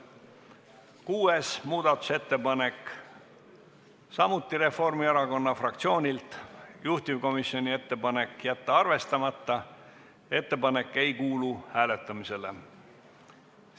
Kuues muudatusettepanek, samuti Reformierakonna fraktsioonilt, juhtivkomisjoni ettepanek: jätta arvestamata, ettepanek ei kuulu hääletamisele.